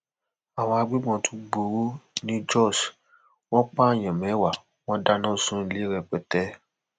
àwọn agbébọn tún gbọrọ ni jos wọn pààyàn mẹwàá wọn dáná sunlé rẹpẹtẹ